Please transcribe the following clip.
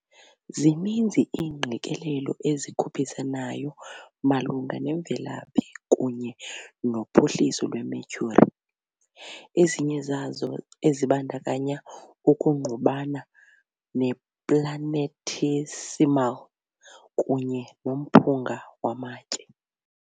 Zininzi iingqikelelo ezikhuphisanayo malunga nemvelaphi kunye nophuhliso lweMercury, ezinye zazo ezibandakanya ukungqubana neplanetesimal kunye nomphunga wamatye.